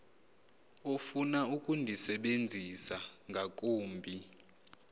ofuna ukundisebenzisa ngakumbi